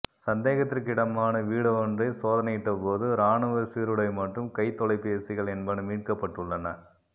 சந்தேகத்திற்கிடமான வீடொன்றை சோதனையிட்ட போது இரானுவச் சீருடை மற்றும் கைத் தொலைபேசிகள் என்பன மீட்கப் பட்டுள்ளன